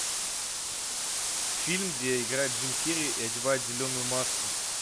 фильм где играет джим керри и одевает зеленую маску